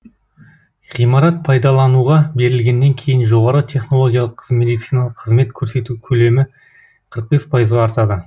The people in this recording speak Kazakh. ғимарат пайдалануға берілгеннен кейін жоғары технологиялық медициналық қызмет көрсету көлемі қырық бес пайызға артады